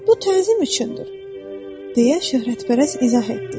Bu təzim üçündür, deyə şöhrətpərəst izah etdi.